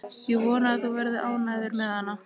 Ég vona að þú verðir ánægður með hana.